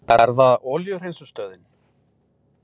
Er það olíuhreinsunarstöðin?